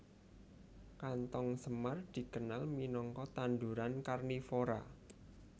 Kanthong semar dikenal minangka tanduran karnivora